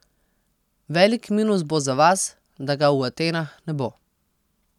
Velik minus bo za vas, da ga v Atenah ne bo.